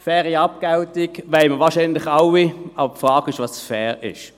Eine faire Abgeltung wollen wir wohl alle, aber die Frage ist, was fair ist.